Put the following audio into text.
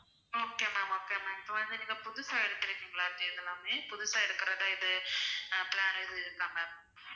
okay ma'am okay ma'am இப்போ வந்து நீங்க புதுசா எடுத்திருக்கீங்களா இப்படி இதெல்லாமே புதுசா எடுக்குறதா இது ஆஹ் plan எதுவும் இருக்கா ma'am